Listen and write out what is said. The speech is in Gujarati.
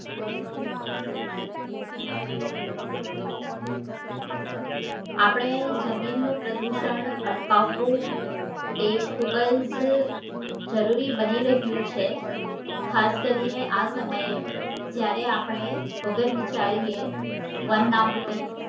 આપણે જમીન નું પ્રદુષણ અટકાવવું ખુબજ જરૂરી બની રહ્યું છે ખાસ કરીએ આ સમયે જયારે આપડે વિચાર્યે વન નાબુતી